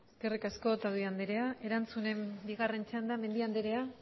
eskerrik asko eskerrik asko otadui anderea erantzunen bigarren txandan mendia anderea